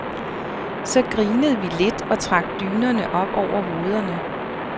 Så grinede vi lidt og trak dynerne op over hovederne.